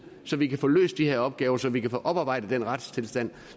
så vi kan få løst de her opgaver så vi kan få oparbejdet den ønskede retstilstand